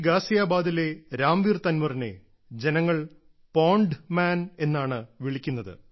ഗാസിയാബാദിലെ രാംവീർ തൻവറിനെ ജനങ്ങൾ pond man എന്നാണ് വിളിക്കുന്നത്